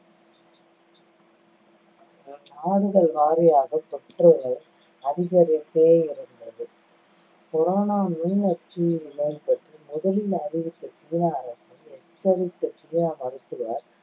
நாடுகள் வாரியாக தொற்றுகள் அதிகரித்தே இருந்தது corona நுண்நச்சுயிரி நோய் பற்றி முதலில் அறிவித்த சீன அரசை எச்சரித்த சீன மருத்துவர்,